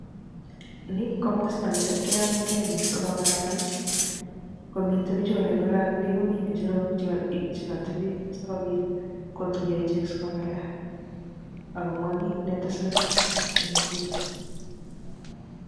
nii ko masta ne keumgei biik so kongalal komitee bichuu olengalalee komii ngecherok che katebee so kobiit kotuyaa icheek so kongalal ak komwaa kiit netesetai eng gunii